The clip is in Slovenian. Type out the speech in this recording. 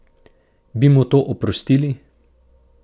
Bi mu to oprostili?